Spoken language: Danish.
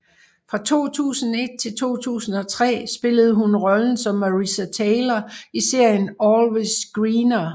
Fra 2001 til 2003 spillede hun rollen som Marissa Taylor i serien Always Greener